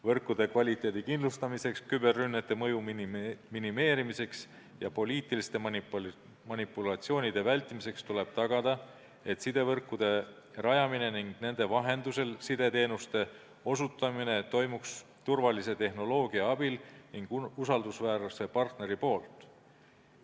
Võrkude kvaliteedi kindlustamiseks, küberrünnete mõju minimeerimiseks ja poliitiliste manipulatsioonide vältimiseks tuleb tagada, et sidevõrkude rajamine ning nende vahendusel sideteenuste osutamine toimuks turvalise tehnoloogia abil ning usaldusväärse partneri poolt.